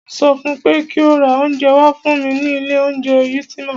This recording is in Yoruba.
Mo sọ fún pé kí o ra oúnjẹ wá fún mí ní ilé oúnjẹ Ultima!